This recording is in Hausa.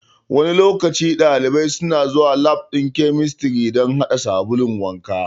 Wani lokaci ɗalibai suna zuwa lab ɗin chemistry dan haɗa sabulun wanka